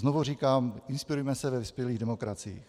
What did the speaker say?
Znovu říkám, inspirujme se ve vyspělých demokraciích.